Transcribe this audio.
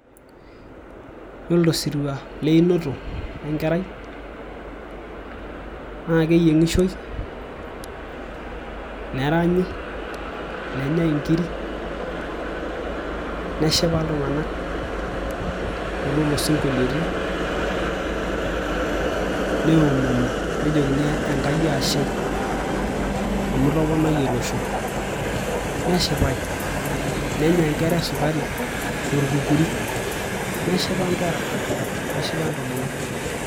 Yiolo tosirua leinoto enkerai naa keyieng'ishoi neranyi nenyai inkirik neshipa iltung'anak toololosinkoliotin neomoni nejokini enkai ashe amu itoponayie olosho neshipai nenya inkera esukari torkukuri neshipa inkera neship intomonok.